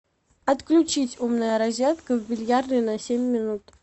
отключить умная розетка в бильярдной на семь минут